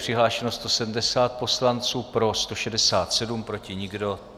Přihlášeno 170 poslanců, pro 167, proti nikdo.